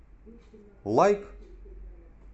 лайк